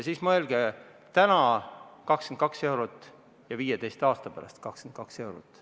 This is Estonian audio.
Mõelge: täna 22 eurot ja 15 aasta pärast 22 eurot.